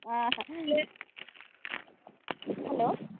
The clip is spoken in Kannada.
ಹ ಹ Hello .